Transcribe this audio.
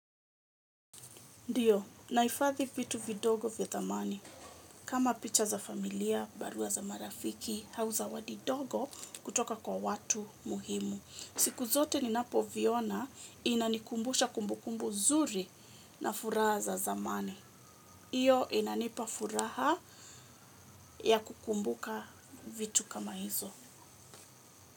Ndiyo, naifathi vitu vidogo vya tamani. Kama picha za familia, barua za marafiki, hau zawadi dogo kutoka kwa watu muhimu. Siku zote ninapo viona inanikumbusha kumbukumbu zuri na furaha za zamani. Iyo inanipa furaha ya kukumbuka vitu kama hizo.